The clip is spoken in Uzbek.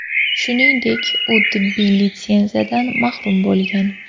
Shuningdek, u tibbiy litsenziyadan mahrum bo‘lgan.